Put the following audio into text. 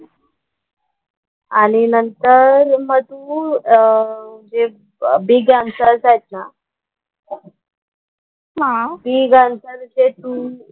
आणि नंतर मग तू अह जे बिग आंसर्स आहेत ना बिग आन्सरचे तू,